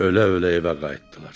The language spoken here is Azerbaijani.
Ölə-ölə evə qayıtdılar.